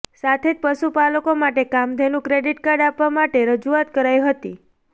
સાથે જ પશુપાલકો માટે કામઘેનુ ક્રેડિટ કાર્ડ આપવા માટે પણ રજૂઆત કરાઈ હતી